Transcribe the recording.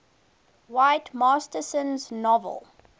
whit masterson's novel